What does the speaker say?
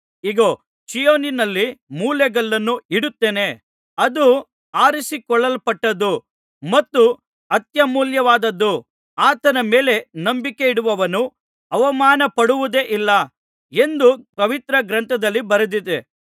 ಇಗೋ ಚೀಯೋನಿನಲ್ಲಿ ಮೂಲೆಗಲ್ಲನ್ನು ಇಡುತ್ತೇನೆ ಅದು ಆರಿಸಿಕೊಳ್ಳಲ್ಪಟ್ಟದ್ದೂ ಮತ್ತು ಅತ್ಯಮೂಲ್ಯವಾದದ್ದೂ ಆತನ ಮೇಲೆ ನಂಬಿಕೆಯಿಡುವವನು ಅವಮಾನಪಡುವುದೇ ಇಲ್ಲ ಎಂದು ಪವಿತ್ರ ಗ್ರಂಥದಲ್ಲಿ ಬರೆದಿದೆ